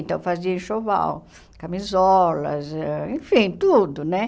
Então fazia enxoval, camisolas, ãh enfim, tudo, né?